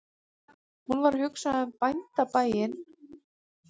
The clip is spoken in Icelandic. Hún var að hugsa um bóndabæina og beindi orðum sínum til Nínu